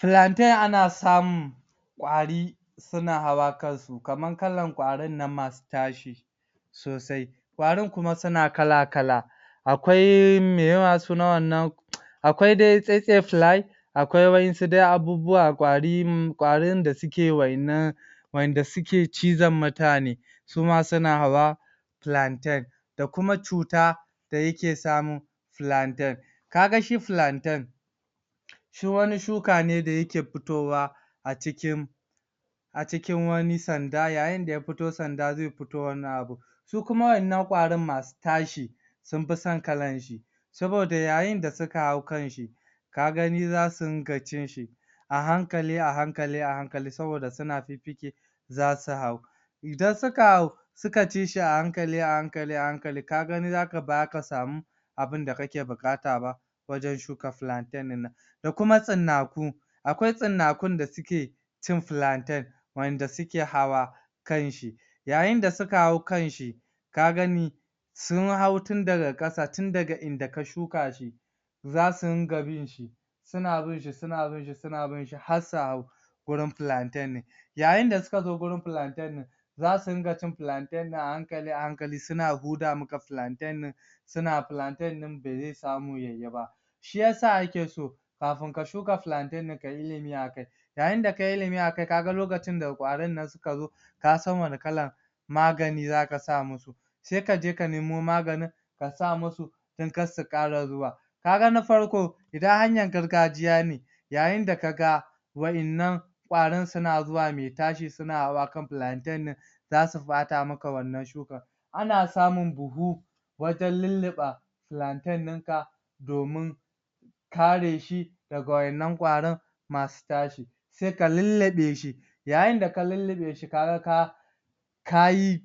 Pilanten aka samun kwari suna hawa kansu kaman kalan kwarin nan masu tashi sosai kwarin kuma suna alakala akwai me ye ma sunan wan nan akwai dai tsetsefilai akwai wasu abubuwa, kwari kwarin da suke wayan nan wayan da suke cizon mutane suma suna hawa pilanten da kuma cuta da yake samun pilanten kaga shi pilanten shi wani shukane da yake futowa a cikin a cikin wani sanda yayin da ya fito sanda zai fito wan nan abun sukuma wayan nan kwarin masu tashi sun fi son kalanshi sabo da yayin da suka hau kanshi ka gani zasu rinka cinshi a hankali, a hankali, a hankali sabo da suna fikfike zasu hau idan suka hau suka ci shi, a hankali, a hankali a hankali, kagani bazaka samu abin da kake bukataba wajen shuka pilanten din nan da kuma tsinnaku akwai stinnakun da suke cin pilanten wadan da suke hawa kanshi yayin da suka hau kanshi ka gani sun hau tundaga kasa, tun daga inda ka shukashi zasu rinka binshi suna binshi, suna binshi, suna binshi har su hau gurin pilanten din yayin da suka zo gurin planten din zasu rinka cin pilanten din a hankali, a hankali, suna huda maka pilanten din suna pilanten din bazai samu yayiba shi isa ake so kafin ka shuka pilanten, kayi ilimi akai yayin da kayi ilimi akai, kaga lokacin da kwarin nan suka zo kasan wanne kalan magani zaka sa musu sai aje ka nemo maganin ka sa musu dan kar su kara zuwa ka ga na farko idan hanyan gargajiya ne yayin da kaga wayan nan kwarin su na zuwa maitashi suna hawa kan pilanten din za su bata maka wan nan shukan ana samun buhu wajen lillife pilanten dinka domin kareshi daga wayan nan kwarin masu tashi sai ka lillifeshi yayin da ka lillifeshi ka ga ka ka yi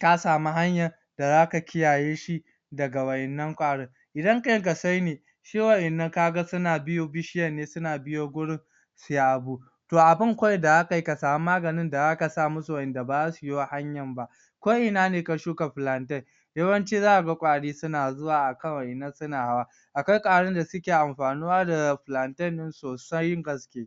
ka samu hanyan da zaka kiyaye shi daga wan nan kwarin idan kankasaine shi wayan nan kaga suna bi bishiyan ne, suna biyo gurin suya go to abin kawai da zaka yi shine ka samu maganin da zaka samusu da ba za su biyo hanyanba ko ina ne ka shuka pilanten yawan ci zaka ga kwari suna zuwa kawai suna hawa akwai kwarin da suke anfanuwa da pilanten din sosai gaske